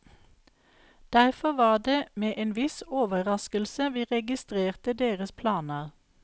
Derfor var det med en viss overraskelse vi registrerte deres planer.